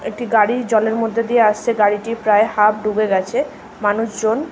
একটি গাড়ি জলের মধ্যে দিয়ে আসছে গাড়িটি প্রায় হাফ ডুবে গেছে মানুষজন--